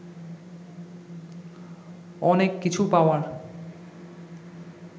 অনেক কিছু পাওয়ার